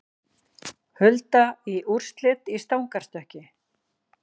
Hulda í úrslit í stangarstökki